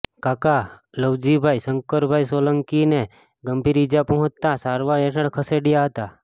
કાકા લવજીભાઈ શંકરભાઈ સોલંકીને ગંભીર ઈજા પહોંચતા સારવાર હેઠળ ખસેડાયા હતા